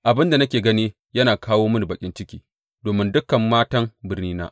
Abin da nake gani yana kawo mini baƙin ciki domin dukan matan birnina.